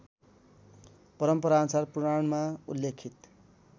परम्पराअनुसार पुराणमा उल्लेखित